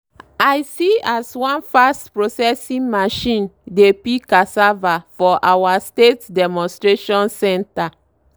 i see as one fast-processing machine dey peel cassava for our state demonstration centre.